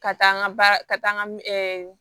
Ka taa n ka baara ka taa nka